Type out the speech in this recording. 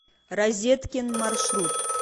розеткин маршрут